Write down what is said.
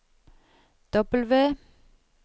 W